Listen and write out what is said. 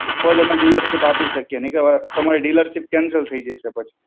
તો જ અમે dealership આપી શકીએ, નહીં તો તમારી dealership cancel થઈ જશે પછી.